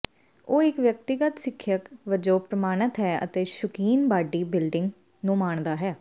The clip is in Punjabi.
ਉਹ ਇੱਕ ਵਿਅਕਤੀਗਤ ਸਿੱਖਿਅਕ ਵਜੋਂ ਪ੍ਰਮਾਣਤ ਹੈ ਅਤੇ ਸ਼ੁਕੀਨ ਬਾਡੀ ਬਿਲਡਿੰਗ ਨੂੰ ਮਾਣਦਾ ਹੈ